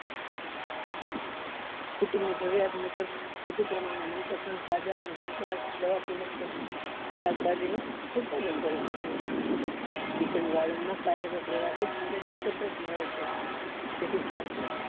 કુટુંબ ની જરૂરીયાત મુજબ યોગ્ય પ્રમાણે મનપસંદ તાઝા અને જંતુ નાશક દવા થી મુક્ત શાકભાજી નું ઉત્પાદન કરી શકાય છે kitchen garden માં કાર્યરત રહેવાથી શારીરિક કસરત મળે છે જેથી સ્વાસ્થ્ય